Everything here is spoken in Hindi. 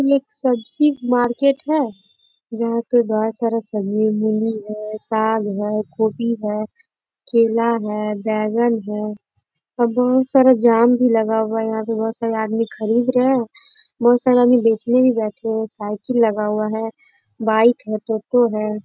इ एक सब्जी मार्केट हैं जहां पर बहुत सारा सब्जी मूली है साग है कोबी है केला है बैगन है बहुत सारा जाम भी लगा हुआ है यहां पर बहुत सारा आदमी खरीद रहे हैं बहुत सारे आदमी बेचने भी बैठे हुए हैं साइकिल लगा हुआ है बाइक है टोटो है।